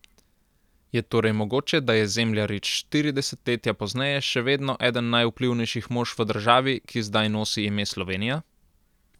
Je torej mogoče, da je Zemljarič štiri desetletja pozneje še vedno eden najvplivnejših mož v državi, ki zdaj nosi ime Slovenija?